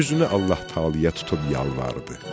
Üzünü Allah Taalaya tutub yalvardı.